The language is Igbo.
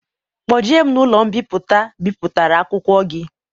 Kpoje m n'ụlọ mbipụta bipụtara akwụkwọ gi